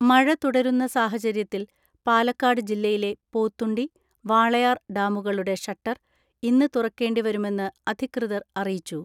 മഴ തുടരുന്ന സാഹചര്യത്തിൽ പാലക്കാട് ജില്ലയിലെ പോത്തുണ്ടി, വാളയാർ ഡാമുകളുടെ ഷട്ടർ ഇന്ന് തുറക്കേണ്ടി വരുമെന്ന് അധികൃതർ അറിയിച്ചു.